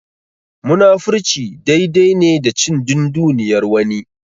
Munafurci dai dai ne da cin dunduniyar wani.